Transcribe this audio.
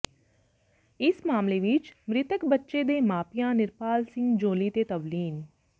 ਇਸ ਮਾਮਲੇ ਵਿੱਚ ਮ੍ਰਿਤਕ ਬੱਚੇ ਦੇ ਮਾਪਿਆਂ ਨਿਰਪਾਲ ਸਿੰਘ ਜੌਲੀ ਤੇ ਤਵਲੀਨ